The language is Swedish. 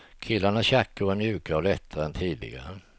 Killarnas jackor är mjukare och lättare än tidigare.